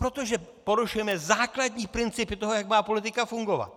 Protože porušujeme základní principy toho, jak má politika fungovat!